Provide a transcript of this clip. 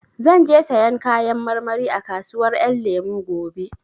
Zan je sayan Kayan marmari a kasuwar Ƴan Lemu gobe